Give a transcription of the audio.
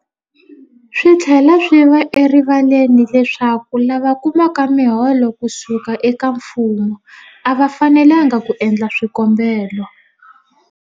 Swi tlhela swi va erivaleni leswaku lava kumaka miholo ku suka eka mfumo a va fanelanga ku endla swikombelo.